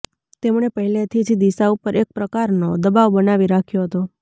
તેમણે પહેલેથી જ દિશા ઉપર એક પ્રકારનો દબાવ બનાવી રાખ્યો હતો